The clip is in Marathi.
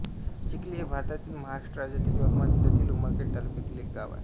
चिखली हे भारतातील महाराष्ट्र राज्यातील यवतमाळ जिल्ह्यातील उमरखेड तालुक्यातील एक गाव आहे